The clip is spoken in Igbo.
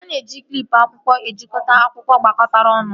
A na-eji klịp akwụkwọ ejikọta akwụkwọ gbakọtara ọnụ